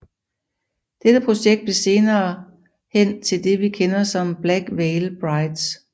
Dette projekt blev senere hen til det vi kender som Black Veil Brides